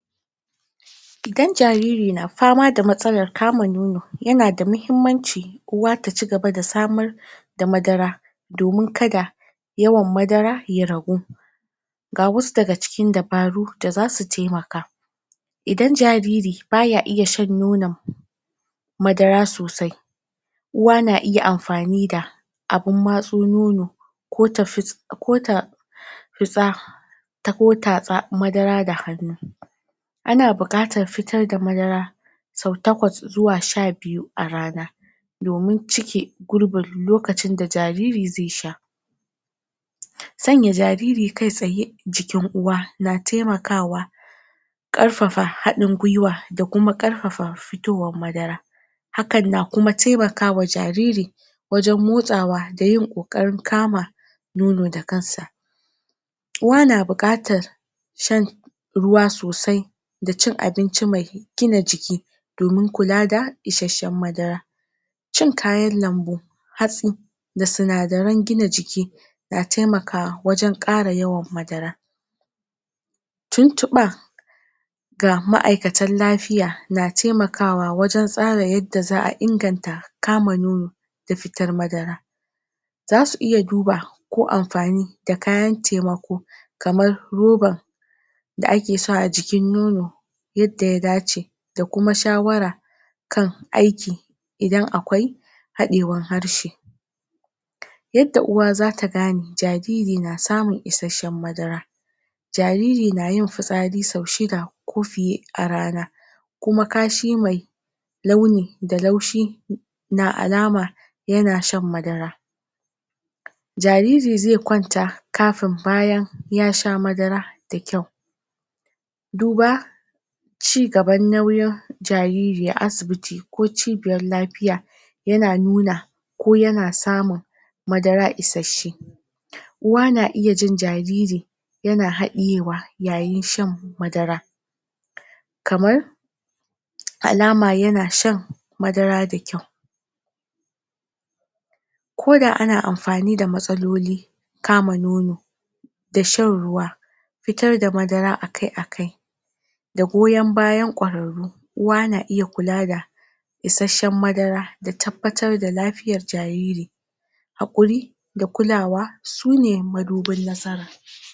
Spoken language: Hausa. idan jariri na fama da matsalan kamun nono yana da mahimmanci uwa ta cigaba da samar da madara domin kada yawan madara ya ragu ga wasu daga cikin dabaru da za su temaka idan jariri baya iya shan nonan madara sosai uwa na iya amfani da abin matso nono ko ta fus ko ta fuza ko ta tatsa madara da hannu ana bukatar fitar da madara sau takwas zuwa shabiyu a rana domin cike gurbin lokacin da jariri zai sha sanya jariri kai tsaye a jikin uwa na temakawa karfafa hadin gwaiwa da kuma karfafa futowan madara han kuma temakawa jariri wajan motsawa da yin kokarin kama nono da kansa uwa na bukatan shan shan ruwa sosai da cin abinci mai gina jiki domin kula da isashshen madara cin kayan lambu hatsi da sinadaran gina jiki na temakawa wajan kara yawan madara tuntuba ga maikatan lafiya na temakawa wajan tsara yadda za a inganta kama noono da fitar madara za su iya duba ko amfani da kayan temako kamar roban da ake sawa a jikin nono yadda ya dace da kuma shawara kan ayki idan akwai hadaiwan harshe yadda uwa za ta gane jariri na samun isashshen madara jariri na yin fitsari sau shida ko fiye a rana kuma kashi mai mai launi da laushi da alama yana shan madara jariri zai kwanta kafin bayan ya sha madara da kyau duba cigaban nauyin jariri a asibiti ko cigaban lafiya yana nuna ko yana samun madara isashshe uwa na iya jin jariri yana hadiyewa yayin shan madara kamar alama yana shan madara da kyau koda ana amfani da matsaloli kama nono da sharuwa fitar da madara akai-akai da goyan bayan kwararru uwa na iya kula da isashshen madara da tabbatar da lafiyan jariri hakuri da kulawa su ne madubin nasara